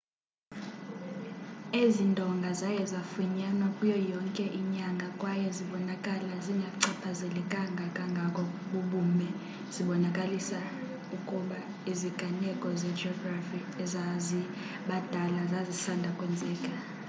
ezi ndonga zaye zafunyanwa kuyo yonke inyanga kwaye zibonakala zingachaphazelekanga kangako bubume zibonakalisa ukuba iziganeko zejografi ezazibadala zazisanda kwenzeka